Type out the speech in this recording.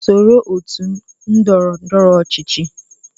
Soro otu ndọrọ ndọrọ ọchịchị